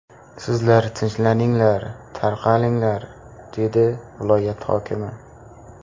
Sizlar tinchlaninglar, tarqalinglar’, dedi viloyat hokimi.